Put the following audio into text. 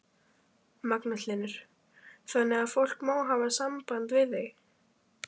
Magnús Hlynur: Þannig að fólk má hafa samband við þig?